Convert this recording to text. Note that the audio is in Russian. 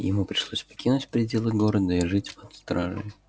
ему пришлось покинуть пределы города и жить под стражей